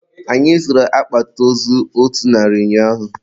Anyị zụrụ akpati ozu otu narị ụnyaahụ.